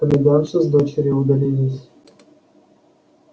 комендантша с дочерью удалились